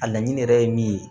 A laɲini yɛrɛ ye min ye